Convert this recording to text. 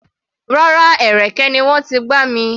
Rárá, ẹ̀rẹ̀kẹ́ ni wọ́n ti gbá mi.